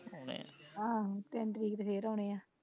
ਆਹੋ ਤਿੰਨ ਤਰੀਕ ਤੇ ਫੇਰ ਆਉਣੇ ਆ